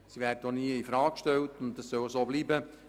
sie werden auch nie in Frage gestellt, und dies soll so bleiben.